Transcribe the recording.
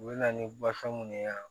U bɛ na ni bafan minnu ye